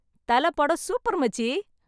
தல படம் சூப்பர் மச்சி.